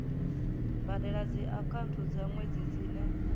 badela dziakhaunthu dza nwedzi dzine